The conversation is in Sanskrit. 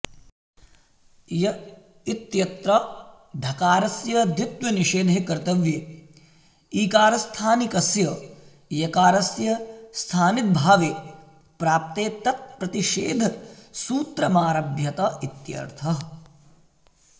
य् इत्यत्र धकारस्य द्वित्वनिषेधे कर्तव्ये ईकारस्थानिकस्य यकारस्य स्थानिद्भावे प्राप्ते तत्प्रतिषेधसूत्रमारभ्यत इत्यर्थः